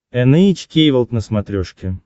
эн эйч кей волд на смотрешке